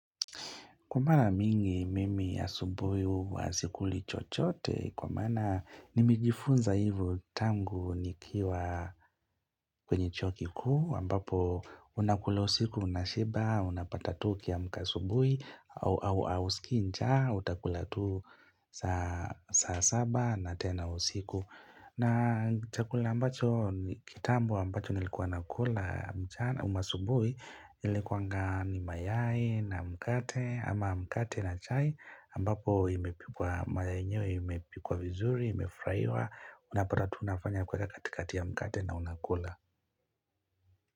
Kwa mara mingi mimi ya asubuhi huwa sikuli chochote, kwa mana nimejifunza hivyo tangu nikiwa kwenye chuo kikuu ambapo unakula usiku unashiba, unapata tu ukiamka asubuhi ausikii njaa, utakula tu saa saba na tena usiku. Na chakula ambacho kitambo ambacho nilikuwa nakula mchana ama asubuhi ilikuwanga ni mayai na mkate ama mkate na chai ambapo imepikwa mayai yenyewe imepikwa vizuri imefurahiwa unapata tu unafanya kuweka katikati ya mkate na unakula.